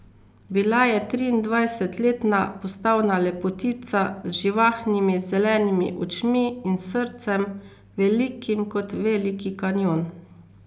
Bila je triindvajsetletna postavna lepotica z živahnimi zelenimi očmi in srcem, velikim kot Veliki kanjon.